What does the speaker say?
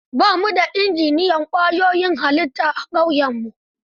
Ba mu da injiniyan ƙwayoyin halitta a ƙauyenmu.